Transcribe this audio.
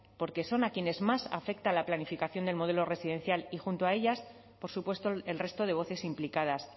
porque son a quienes más afecta la planificación del modelo residencial y junto a ellas por supuesto el resto de voces implicadas